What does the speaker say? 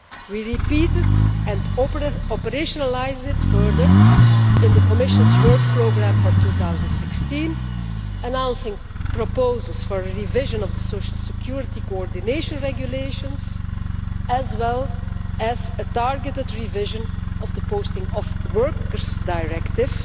We repeat it and operationalise it further in the Commission's work programme for 2016, announcing proposals for a revision of the social security coordination regulations, as well as a targeted revision of the Posting of Workers Directive